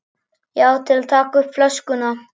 Já, til að taka upp flöskuna